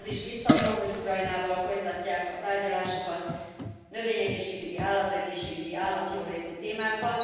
Ahogy az is biztató, hogy Ukrajnával folytatják a tárgyalásokat, növényegészségügyi, állategészségügyi, állatjóléti témákban.